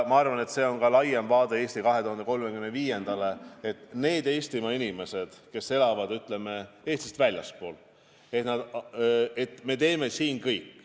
Ma arvan, et see on laiem vaade "Eesti 2035-le", et need Eestimaa inimesed, kes elavad Eestist väljaspool, tagasi tuleksid.